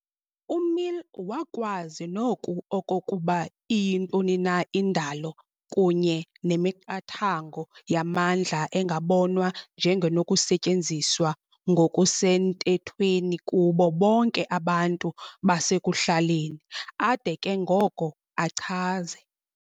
UMill wakwazi noku okokuba iyintoni na "indalo kunye nemiqathango yamandla engabonwa njengenokusetyenziswa ngokusenthethweni kubo bonke abantu basekuhlaleni" ade ke ngoko, achaze